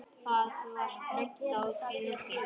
Það var þröng á þingi.